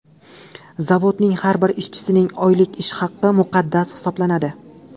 Zavodning har bir ishchisining oylik ish haqi muqaddas hisoblanadi.